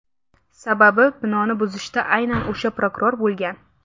Sababi binoni buzishda aynan o‘sha prokuror bo‘lgan.